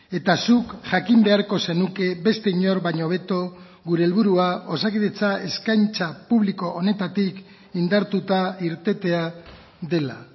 eta zuk jakin beharko zenuke beste inor baino hobeto gure helburua osakidetza eskaintza publiko honetatik indartuta irtetea dela